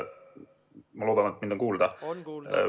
Ma loodan, et mind on kuulda.